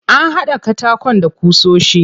An haɗa katakon da ƙusoshi.